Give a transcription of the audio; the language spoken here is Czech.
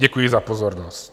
Děkuji za pozornost.